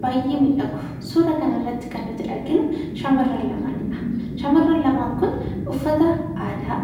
Baay'ee bareeda. Suura kan irratti kan nuti arginu shamarran lamaanidha. Shamarran lamaan kun uffata aadaa